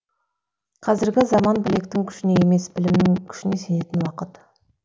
қазіргі заман білектің күшіне емес білімнің күшіне сенетін уақыт